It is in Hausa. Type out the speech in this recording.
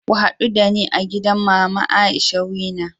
Ku hadu dani a gidan Mama Aisha's Wena